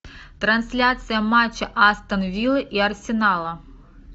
трансляция матча астон виллы и арсенала